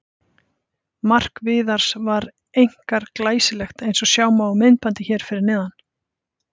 Mark Viðars var einkar glæsilegt eins og sjá má á myndbandi hér fyrir neðan.